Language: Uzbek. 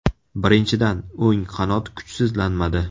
Birinchidan, o‘ng qanot kuchsizlanmadi.